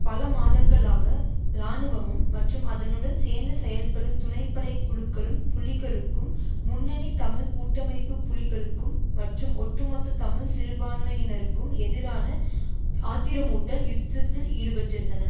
பல மாதங்களாக இராணுவமும் மற்றும் அதனுடன் சேர்ந்து செயற்படும் துணைப்படை குழுக்களும் புலிகளுக்கும் முன்னணி தமிழ் கூட்டமைப்பு புள்ளிகளுக்கும் மற்றும் ஒட்டுமொத்த தமிழ் சிறுபான்மையினருக்கும் எதிரான ஆத்திரமூட்டல் யுத்தத்தில் ஈடுபட்டிருந்தன